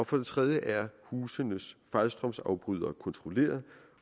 for det tredje er husenes fejlstrømsafbrydere kontrolleret